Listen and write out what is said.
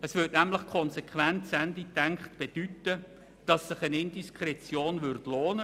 Es würde nämlich, wenn man es konsequent zu Ende denkt, bedeuten, dass sich eine Indiskretion lohnt: